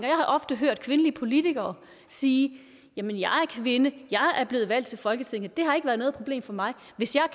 jeg har ofte hørt kvindelige politikere sige jamen jeg er kvinde og er blevet valgt til folketinget og det har ikke været noget problem for mig hvis